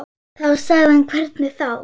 Þá sagði hann hvernig þá.